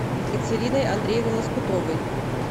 екатериной андреевной лоскутовой